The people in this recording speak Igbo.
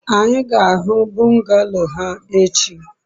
anyi ga-ahu bungalow ha echi